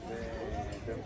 Dedi ki, o da belədir.